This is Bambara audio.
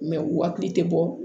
u hakili tɛ bɔ